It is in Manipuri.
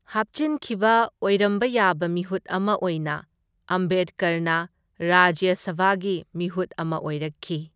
ꯍꯥꯞꯆꯤꯟꯈꯤꯕ ꯑꯣꯏꯔꯝꯕ ꯌꯥꯕ ꯃꯤꯍꯨꯠ ꯑꯃ ꯑꯣꯏꯅ ꯑꯝꯕꯦꯗꯀꯔꯅ ꯔꯥꯖ꯭ꯌ ꯁꯚꯥꯒꯤ ꯃꯤꯍꯨꯠ ꯑꯃ ꯑꯣꯏꯔꯛꯈꯤ꯫